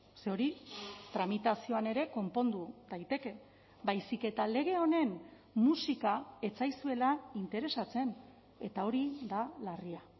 ze hori tramitazioan ere konpondu daiteke baizik eta lege honen musika ez zaizuela interesatzen eta hori da larria